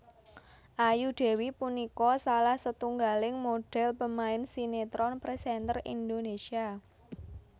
Ayu Dewi punika salah setunggaling modhèl pemain sinetron presenter Indonésia